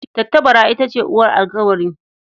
Tattabara ita ce uwar alƙawari.